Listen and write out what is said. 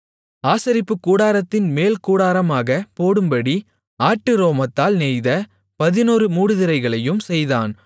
ஆசரிப்புக்கூடாரத்தின்மேல் கூடாரமாகப் போடும்படி ஆட்டு ரோமத்தால் நெய்த பதினொரு மூடுதிரைகளையும் செய்தான்